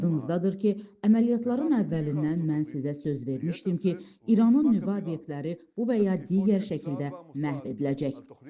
Yadınızdadır ki, əməliyyatların əvvəlindən mən sizə söz vermişdim ki, İranın nüvə obyektləri bu və ya digər şəkildə məhv ediləcək.